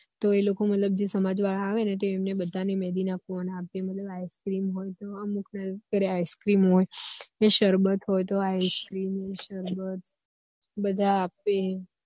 તો એ લોકો મતલબ જે સમાજ વાળા આવે ને તો એમને બધા ને મેહદી ના કોન આપે મતલબ ice crem હોય તો અમુક ફેર ice crem જો સરબત હોય તો ice crem સરબત બધા આપે